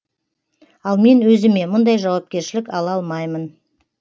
ал мен өзіме мұндай жауапершілік ала алмаймын